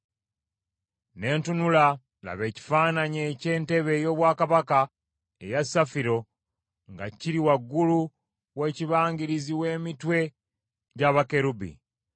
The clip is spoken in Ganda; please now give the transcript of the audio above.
Ne ntunula, laba, ekifaananyi eky’entebe ey’obwakabaka eya safiro nga kiri waggulu w’ekibangirizi w’emitwe gya bakerubi.